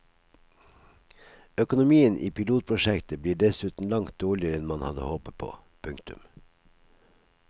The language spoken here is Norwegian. Økonomien i pilotprosjektet blir dessuten langt dårligere enn man hadde håpet på. punktum